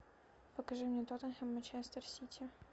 покажи мне тоттенхэм манчестер сити